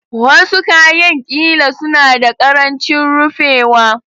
Wasu kayan ƙila suna da ƙarancin rufewa